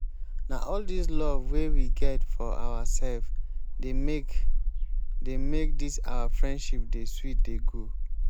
na all dis love wey we get for oursef dey make dey make dis our friendship dey sweet dey go.